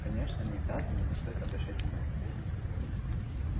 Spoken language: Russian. конечно не даты но стоит обращать внимание